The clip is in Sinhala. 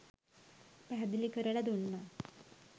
පැහැදිලි කරලා දුන්නා.